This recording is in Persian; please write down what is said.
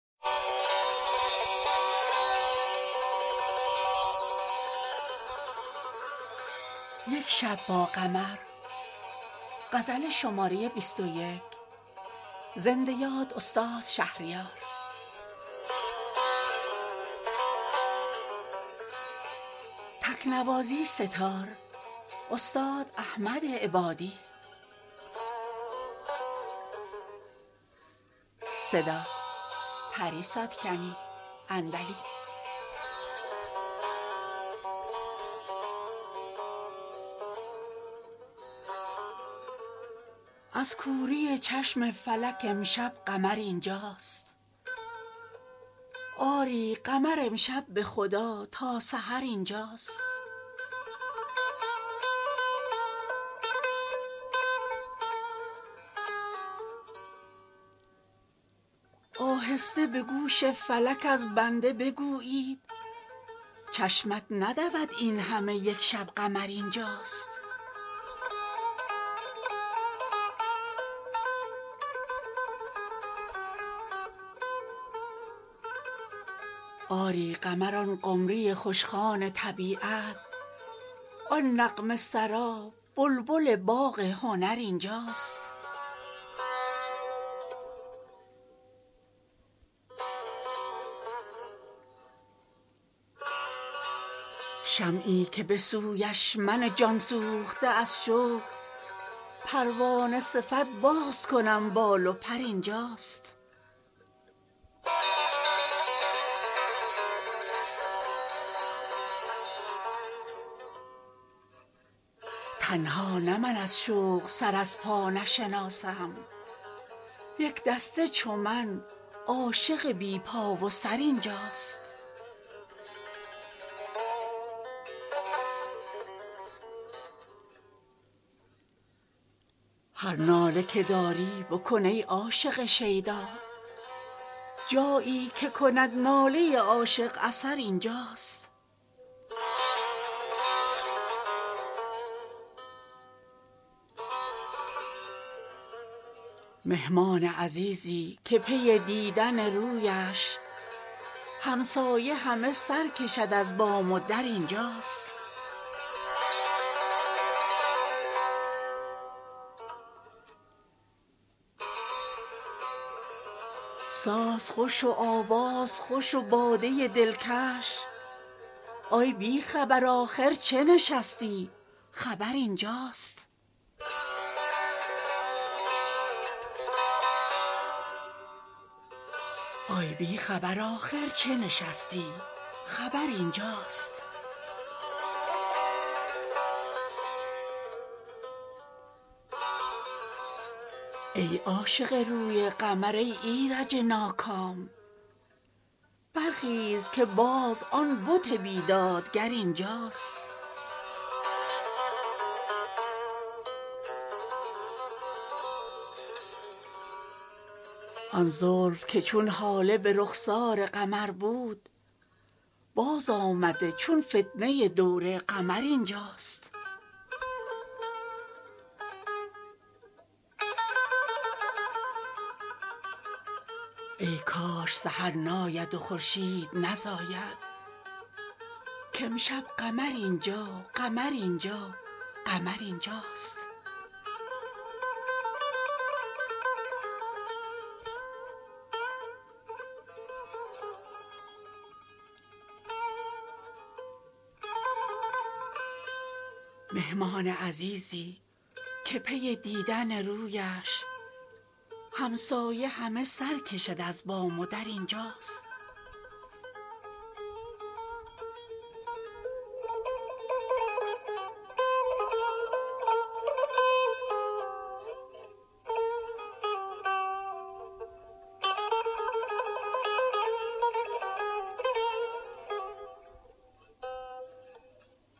از کوری چشم فلک امشب قمر اینجاست آری قمر امشب به خدا تا سحر اینجاست آهسته به گوش فلک از بنده بگویید چشمت ندود این همه یک شب قمر اینجاست آری قمر آن قمری خوشخوان طبیعت آن نغمه سرا بلبل باغ هنر اینجاست شمعی که به سویش من جانسوخته از شوق پروانه صفت باز کنم بال و پر اینجاست تنها نه من از شوق سر از پا نشناسم یک دسته چو من عاشق بی پا و سر اینجاست هر ناله که داری بکن ای عاشق شیدا جایی که کند ناله عاشق اثر اینجاست مهمان عزیزی که پی دیدن رویش همسایه همه سرکشد از بام و در اینجاست ساز خوش و آواز خوش و باده دلکش ای بیخبر آخر چه نشستی خبر اینجاست آسایش امروزه شده دردسر اما امشب دگر آسایش بی دردسر اینجاست ای عاشق روی قمر ای ایرج ناکام برخیز که باز آن بت بیداد گر اینجاست آن زلف که چون هاله به رخسار قمر بود بازآمده چون فتنه دور قمر اینجاست ای کاش سحر ناید و خورشید نزاید کامشب قمر این جا قمر این جا قمر اینجاست